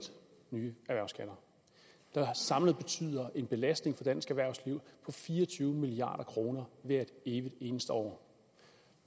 nye erhvervsskatter der samlet betyder en belastning af dansk erhvervsliv på fire og tyve milliard kroner hvert evigt eneste år